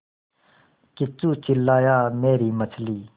किच्चू चिल्लाया मेरी मछली